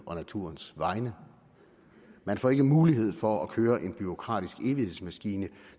og naturens vegne man får ikke mulighed for at køre en bureaukratisk evighedsmaskine